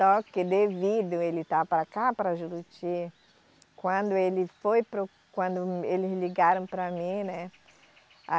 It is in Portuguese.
Só que devido ele estar para cá, para Juruti, quando ele foi para o, quando eles ligaram para mim, né? A